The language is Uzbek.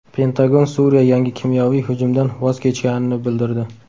Pentagon Suriya yangi kimyoviy hujumdan voz kechganini bildirdi.